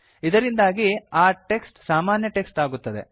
ಇದರಿಂದಾಗಿ ಆ ಟೆಕ್ಸ್ಟ್ ಸಾಮಾನ್ಯ ಟೆಕ್ಸ್ಟ್ ಆಗುತ್ತದೆ